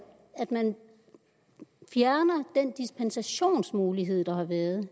at man fjerner den dispensationsmulighed der har været